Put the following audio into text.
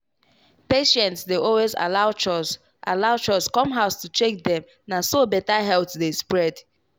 patients dey always allow chws allow chws come house to check dem na so better health dey spread.